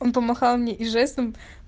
он помахал мне и жестом